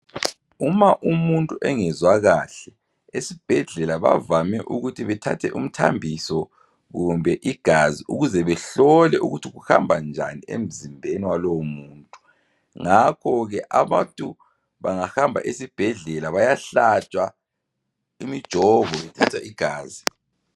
Uma umuntu engezwa kahle ezibhedlela bavame ukuthi bethathe umthambiso kumbe igazi ukuze behlole ukuthi kuhamba njani emzimbeni walowo muntu ngakho ke abantu bangahamba esibhedlela bayahlatshwa imijovo ethatha igazi.